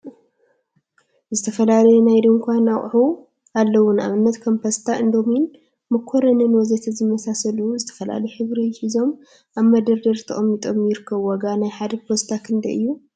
ዝተፈላለዩ ናይ ድንኳ አቁሑ አለው፡፡ ንአብነት ከም ፓስታ፣ እንዶሚንን መኮሪኒን ወዘተ ዝመሳሰሉዝተፈላለየ ሕብሪ ሒዞም አብ መደርደሪ ተቀሚጦም ይርከቡ፡፡ ዋጋ ናይ ሓደ ፓስታ ክንደይ እዩ?